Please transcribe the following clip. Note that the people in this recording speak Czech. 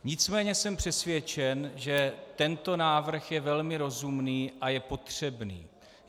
Nicméně jsem přesvědčen, že tento návrh je velmi rozumný a je potřebný.